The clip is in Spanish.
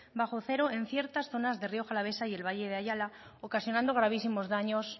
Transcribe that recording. bajo cero en ciertas zonas de rioja alavesa y el valle de ayala ocasionando gravísimos daños